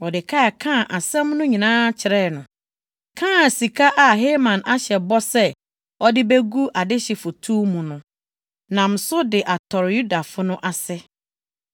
Mordekai kaa asɛm no nyinaa kyerɛɛ no, kaa sika a Haman ahyɛ bɔ sɛ ɔde begu adehye foto mu no, nam so de atɔre Yudafo no ase.